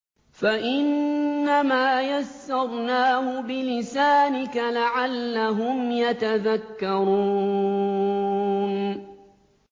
فَإِنَّمَا يَسَّرْنَاهُ بِلِسَانِكَ لَعَلَّهُمْ يَتَذَكَّرُونَ